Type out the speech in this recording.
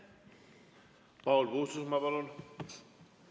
Paul Puustusmaa, palun!